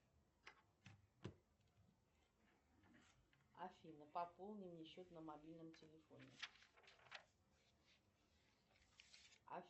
афина пополни мне счет на мобильном телефоне